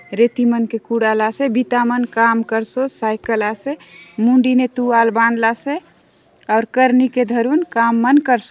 रेती मन के कूड़ा लासे बिता मन काम करसोत साइकिल आसे मुंडी ने तुआल बांध लासे और करनी के धरुन काम मन कर स--